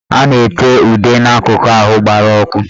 A na-ete ude n'akụkụ ahụ gbara ọkụ